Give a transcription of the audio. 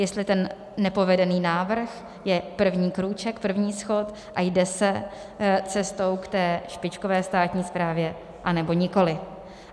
Jestli ten nepovedený návrh je první krůček, první schod, a jde se cestou k té špičkové státní správě, anebo nikoli.